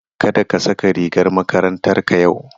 Kada ka saka rigar makarantarka yau.